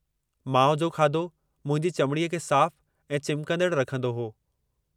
माउ जो खाधो मुंहिंजी चमड़ीअ खे साफ़ु ऐं चिमकंदड़ रखंदो हो।